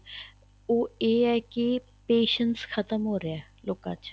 ਉਹ ਇਹ ਹੈ ਕਿ patience ਖ਼ਤਮ ਹੋ ਰਹਿਆ ਹੈ ਲੋਕਾਂ ਚ